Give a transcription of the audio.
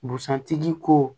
Busan tigi ko